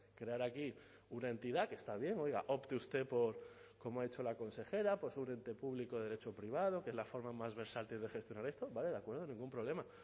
crear aquí una entidad que está bien opte usted por como ha dicho la consejera por un ente público de derecho privado que es la forma más versátil de gestionar esto vale de acuerdo ningún problema